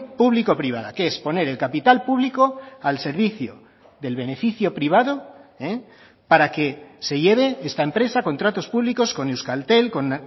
público privada que es poner el capital público al servicio del beneficio privado para que se lleve esta empresa contratos públicos con euskaltel con